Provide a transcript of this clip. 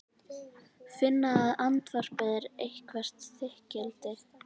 Finna að andvarpið er eitthvert þykkildi.